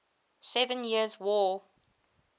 seven years war